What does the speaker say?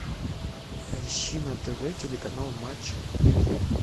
поищи на тв телеканал матч премьер